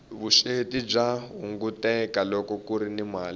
vusweti bya hunguteka loko kuri ni mali